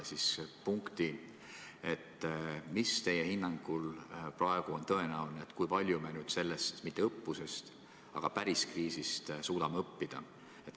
Milline on teie hinnang, kui palju me sellest kriisist – mitte õppusest, vaid päris kriisist – suudame õppida?